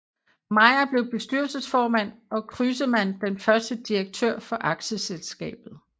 Meier blev bestyrelsesformand og Crüseman den første direktør for aktieselskabet